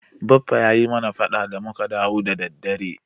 Baffa ya yi mana faɗa da muka dawo da daddare.